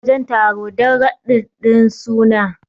za a je wajen taro dan radin din suna